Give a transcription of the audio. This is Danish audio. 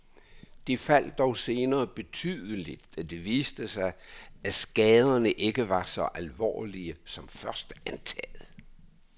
De faldt dog senere betydeligt, da det viste sig, at skaderne ikke var så alvorlige som først antaget.